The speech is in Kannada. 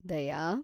ದಯಾ